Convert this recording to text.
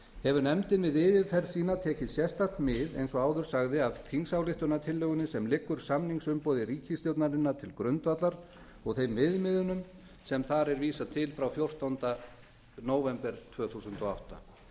hefur nefndin við yfirferð sína tekið sérstakt mið eins og áður sagði af þingsályktunartillögunni sem liggur samningsumboði ríkisstjórnarinnar til grundvallar og þeim viðmiðum sem þar er vísað til frá fjórtánda nóvember tvö þúsund og átta